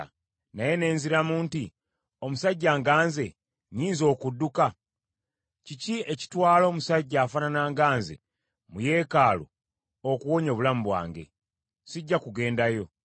Naye ne nziramu nti, “Omusajja nga nze nnyinza okudduka? Kiki ekitwala omusajja afaanana nga nze mu yeekaalu okuwonya obulamu bwange? Sijja kugenda yo.”